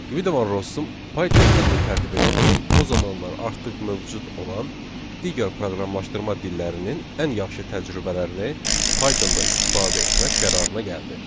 Qvido Van Rossum Python dilini tərtib edərkən o zamanlar artıq mövcud olan digər proqramlaşdırma dillərinin ən yaxşı təcrübələrini Pythonda istifadə etmək qərarına gəldi.